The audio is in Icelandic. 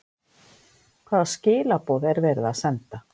Hvaða skilaboð er verið að senda?